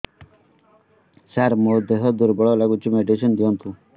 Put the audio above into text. ସାର ମୋର ଦେହ ଦୁର୍ବଳ ଲାଗୁଚି ମେଡିସିନ ଦିଅନ୍ତୁ